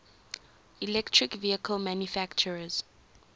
electric vehicle manufacturers